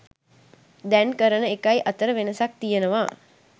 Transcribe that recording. දැන් කරන එකයි අතර වෙනසක් තියෙනවා.